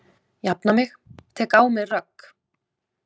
Jafna mig, tek á mig rögg.